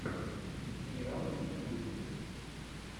сериалы в ютьюбе